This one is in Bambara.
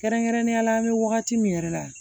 Kɛrɛnkɛrɛnnenya la an bɛ wagati min yɛrɛ la